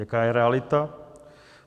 Jaká je realita?